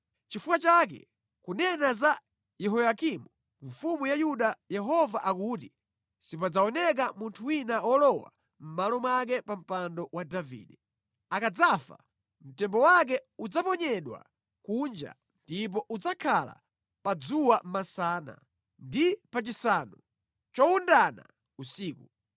Nʼchifukwa chake kunena za Yehoyakimu mfumu ya Yuda Yehova akuti sipadzaoneka munthu wina wolowa mʼmalo mwake pa mpando wa Davide. Akadzafa mtembo wake udzaponyedwa kunja ndipo udzakhala pa dzuwa masana, ndi pachisanu chowundana usiku.